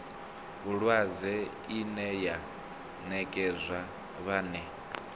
vhulwadze ine ya nekedzwa vhane